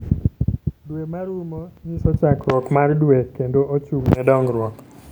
Dwe ma rumo nyiso chakruok mar dwe kendo ochung'ne dongruok.